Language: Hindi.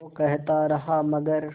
वो कहता रहा मगर